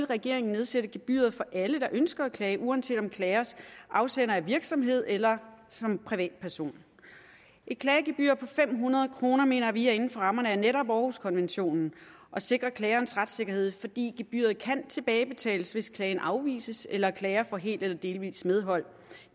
regeringen nedsætte gebyret for alle der ønsker at klage uanset om klagens afsender er en virksomhed eller privatperson et klagegebyr på fem hundrede kroner mener vi er inden for rammerne af netop århuskonventionen og sikrer klagerens retssikkerhed fordi gebyret kan tilbagebetales hvis klagen afvises eller klager får helt eller delvis medhold